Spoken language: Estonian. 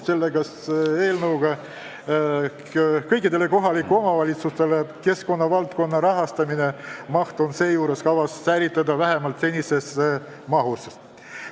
Seejuures on kavas säilitada kõikidele kohalikele omavalitsustele keskkonnavaldkonna rahastamine vähemalt senises mahus.